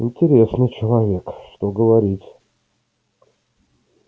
интересный человек что говорить